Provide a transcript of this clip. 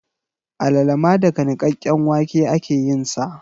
Alala ma daga nikakken wake ake yin sa